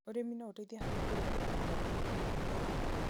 ũrĩmi no ũteithie harĩ kũrũa na mogarũrũku ma rĩera.